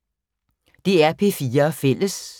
DR P4 Fælles